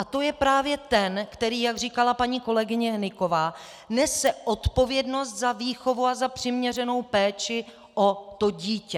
A to je právě ten, který, jak říkala paní kolegyně Hnyková, nese odpovědnost za výchovu a za přiměřenou péči o to dítě.